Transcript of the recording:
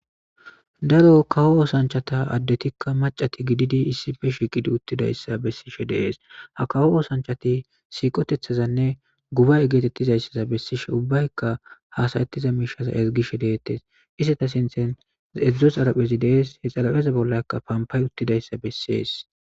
daro kawo oosanchata addetikka macati gididi iisife shi gidi uttidayssa bessishe dees ha kawo oosanchati siiqotethazanne gubay geetettizayssaza bessishe ubbaykka haasayettiza miishaza ezigishe deettes issata sinthen edzdzo xalaphezi dees he xalapheza bollakka pampay uttidayssa bessees